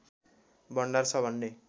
भण्डार छ भन्ने